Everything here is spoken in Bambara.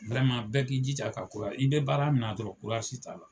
Wɛrɛma bɛɛ k'i jija ka kura i bɛ baara min dɔrɔn kurazi t'a la